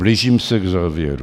Blížím se k závěru.